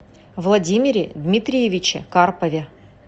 владимире дмитриевиче карпове